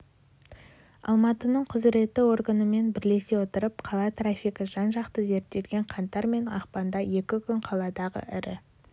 алматының құзіретті органымен бірлесе отырып қала трафигі жан-жақты зерттелген қаңтар мен ақпанда екі күн қаладағы ірі